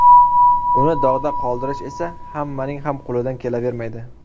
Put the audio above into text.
Uni dog‘da qoldirish esa hammaning ham qo‘lidan kelavermaydi.